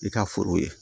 I ka foro ye